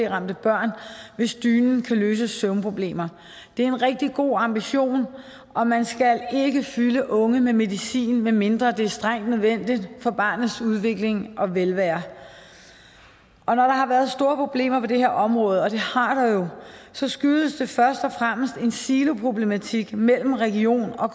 ramte børn hvis dynen kan løse søvnproblemer det er en rigtig god ambition og man skal ikke fylde unge med medicin medmindre det er strengt nødvendigt for barnets udvikling og velvære når der har været store problemer på det her område og det har der jo så skyldes det først og fremmest en siloproblematik mellem region og